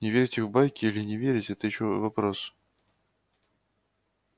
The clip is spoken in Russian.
не верьте в байки или не верите это ещё вопрос